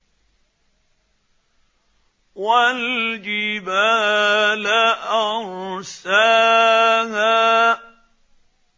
وَالْجِبَالَ أَرْسَاهَا